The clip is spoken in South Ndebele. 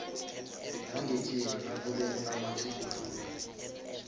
yangekhenu nakube kunamatjhuguluko